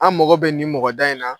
An mako bɛ nin mɔgɔ da in na